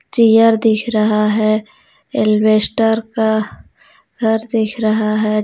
Tier दिख रहा हे एलवेस्टर का घर दिख रहा हे. झ--